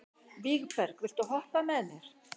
Vígberg, viltu hoppa með mér?